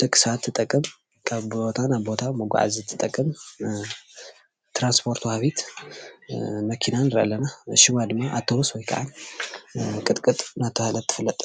ደቂ ሰባት ትጠቅም ካብ ቦታ ናብ ቦታ መጋዓዚ ትጠቅም ትራንስፖርት ወሃቢት መኪና ንርኢ ኣለና፡፡ ሽማ ድማ ኣብተቡስ ወይ ድማ ቅጥቅጥ እንዳተባሃለት ትፍለጥ፡፡